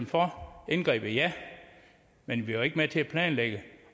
for indgrebet ja men vi var ikke med til at planlægge